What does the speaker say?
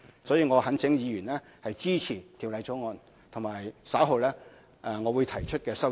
所以，我懇請議員支持《條例草案》及稍後我會提出的修正案。